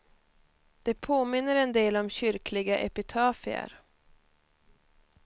Det påminner en del om kyrkliga epitafier.